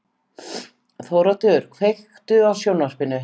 Þóroddur, kveiktu á sjónvarpinu.